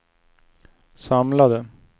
samlade